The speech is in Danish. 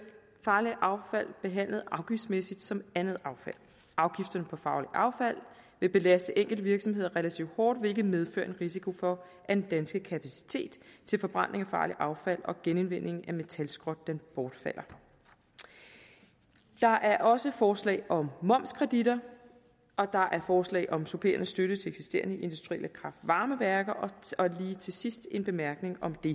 farligt affald behandlet afgiftsmæssigt som andet affald afgifterne på farligt affald vil belaste enkelte virksomheder relativt hårdt hvilket medfører en risiko for at den danske kapacitet til forbrænding af farligt affald og genindvinding af metalskrot bortfalder der er også forslag om momskreditter og der er forslag om supplerende støtte til eksisterende industrielle kraft varme værker og lige til sidst en bemærkning om det